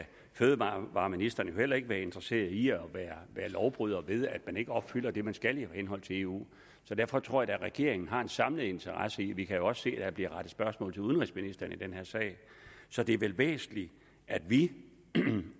fødevareministeren heller ikke være interesseret i at være lovbryder ved at man ikke opfylder det man skal i henhold til eu derfor tror jeg regeringen har en samlet interesse i det vi kan også se at der bliver rettet spørgsmål til udenrigsministeren i den her sag så det er vel væsentligt at vi